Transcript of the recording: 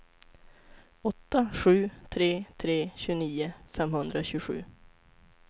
åtta sju tre tre tjugonio femhundratjugosju